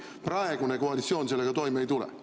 Praegune koalitsioon sellega toime ei tule.